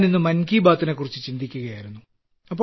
ഞാൻ ഇന്ന് മൻ കീ ബാത്തിനെക്കുറിച്ച് ചിന്തിക്കുകയായിരുന്നു